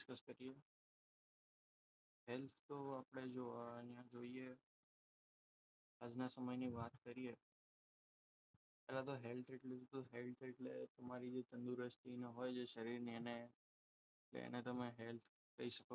health તો આપણે જો અહીંયા જોઈએ આજના સમયની વાત કરીએ બરાબર health એટલે health એટલે તમારી જે તંદુરસ્તી હોય શરીરની અને એને તમે health કહી શકો